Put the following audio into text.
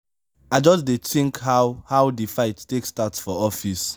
i just dey tink how how di fight take start for office.